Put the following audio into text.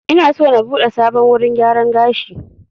Ina so na buɗe sabon wurin gyaran gashi